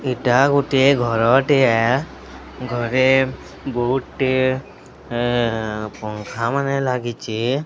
ଏଇଟା ଗୁଟିଏ ଘରଟିଏ ଘରେ ବହୂଟେ ପଙ୍ଖାମାନେ ଲାଗିଚେ।